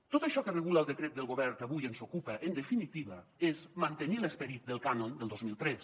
tot això que regula el decret del govern que avui ens ocupa en definitiva és mantenir l’esperit del cànon del dos mil tres